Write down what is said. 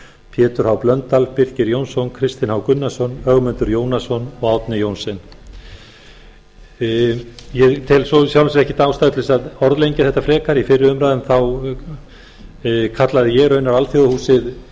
pétur h blöndal birkir j jónsson kristinn h gunnarsson ögmundur jónasson og árni johnsen ég tel í sjálfu sér ekkert ástæðu til þess að orðlengja þetta frekar í fyrri umræðum kallaði ég raunar alþjóðahúsið